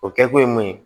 O kɛkun ye mun ye